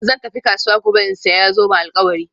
Zan tafi kasuwa gobe in sayi zoben alkawari